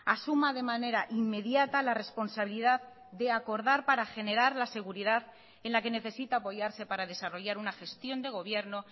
asuma de manera inmediata la responsabilidad de acordar para generar la seguridad en la que necesita apoyarse para desarrollar una gestión de gobierno